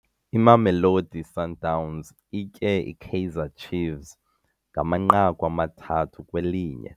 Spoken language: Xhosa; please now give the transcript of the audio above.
Imamelodi Sundowns itye iKaizer Chiefs ngamanqaku amathathu kwelinye.